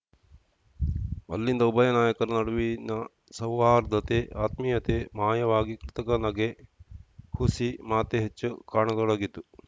ಅಲ್ಲಿಂದ ಉಭಯ ನಾಯಕರ ನಡುವಿನ ಸೌಹಾರ್ದತೆ ಆತ್ಮೀಯತೆ ಮಾಯವಾಗಿ ಕೃತಕ ನಗೆ ಹುಸಿ ಮಾತೇ ಹೆಚ್ಚು ಕಾಣತೊಡಗಿತು